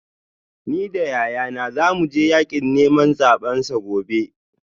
Ni da yayana za mu je yakin neman zabensa gobe